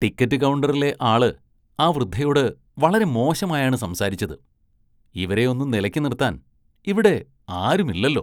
Ticket കൗണ്ടറിലെ ആള് ആ വൃദ്ധയോട് വളരെ മോശമായാണ് സംസാരിച്ചത്, ഇവരെയൊന്നും നിലയ്ക്ക് നിര്‍ത്താന്‍ ഇവിടെ ആരുമില്ലല്ലോ.